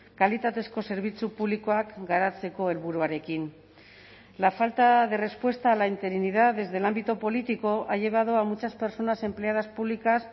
kalitatezko zerbitzu publikoak garatzeko helburuarekin la falta de respuesta a la interinidad desde el ámbito político ha llevado a muchas personas empleadas públicas